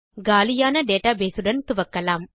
காலியான டேட்டாபேஸ் உடன் துவக்கலாம்